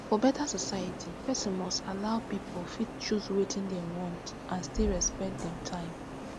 for beta society person must allow pipu fit choose wetin dem want and still respect dem time